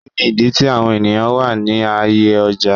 Kini idi ti awọn eniyan wa ni aaye ọja?